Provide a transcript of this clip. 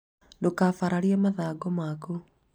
ndũkabaararĩe mathagu maku